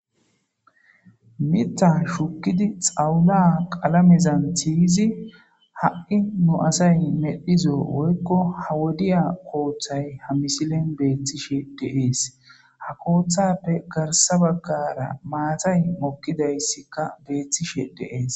Mita shukidi xawula qalamezan tiyzi ha'i nu asay medhizo woykko ha wodiya kooththay ha misilen beeththishe deees ha kooththappe garsa baggara maatay mokkidayssikka beeththishe deees.